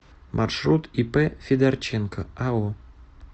маршрут ип федорченко ао